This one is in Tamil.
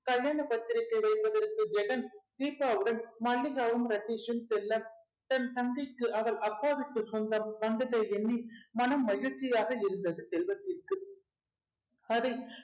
கல்யாண பத்திரிகை வைப்பதற்கு ஜெகன் தீபாவுடன் மல்லிகாவும் ரதீஷும் செல்ல தன் தந்தைக்கு அவர் அப்பா வீட்டு சொந்தம் வந்ததை எண்ணி மனம் மகிழ்ச்சியாக இருந்தது செல்வத்திற்கு அதை